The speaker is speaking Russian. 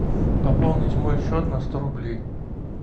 пополнить мой счет на сто рублей